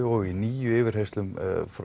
og í níu yfirheyrslum